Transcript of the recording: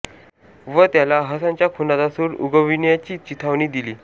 व त्याला हसनच्या खुनाचा सूड उगविण्याची चिथावणी दिली